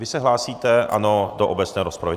Vy se hlásíte, ano, do obecné rozpravy.